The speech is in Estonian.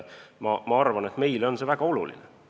Ma arvan, et meile on see väga oluline.